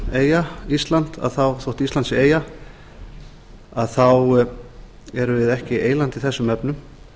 þrátt fyrir að ísland sé eyja þá erum við ekki eyland í þessum efnum